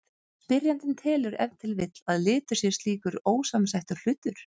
Spyrjandinn telur ef til vill að litur sé slíkur ósamsettur hlutur.